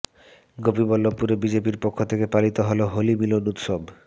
গোপীবল্লভপুরে বিজেপির পক্ষ থেকে পালিত হল হোলি মিলন উৎসব